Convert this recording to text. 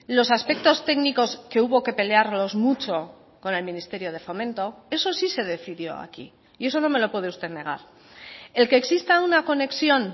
los aspectos técnicos que hubo que pelearlos mucho con el ministerio de fomento eso sí se decidió aquí y eso no me lo puede usted negar el que exista una conexión